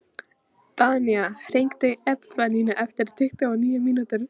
Danía, hringdu í Epifaníu eftir tuttugu og níu mínútur.